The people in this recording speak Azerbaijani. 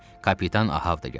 Kapitan Ahav da gəldi.